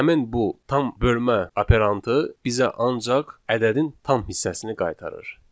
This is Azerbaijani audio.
Həmin bu tam bölmə operantı bizə ancaq ədədin tam hissəsini qaytarır.